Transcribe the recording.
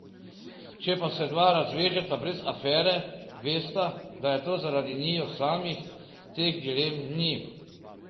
Če pa se dva razvežeta brez afere, vesta, da je to zaradi njiju samih, teh dilem ni.